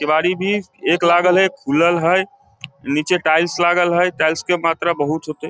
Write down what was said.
केवाड़ी भी गेट लागल हेय खुलल हेय नीचे टाइल्स लागल हेय टाइल्स के मात्रा भी बहुत छोटे --